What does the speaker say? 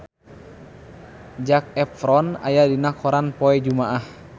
Zac Efron aya dina koran poe Jumaah